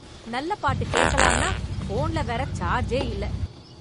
நல்ல பாட்டு கேக்கலான்னா போன்ல வேற சார்ஜே இல்ல.